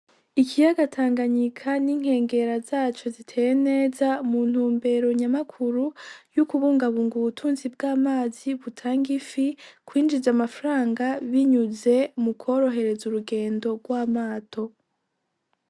Ikiyaga Tanganyika n'inkengera zaco ziteye neza mu ntumbero nyamakuru yo kubungabunga ubutunzi bw'amazi butanga ifi kwinjiza amafaranga binyuze mu kworohereza urugendo rw'amato.